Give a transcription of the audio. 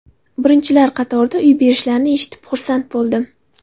Birinchilar qatorida uy berishlarini eshitib xursand bo‘ldim.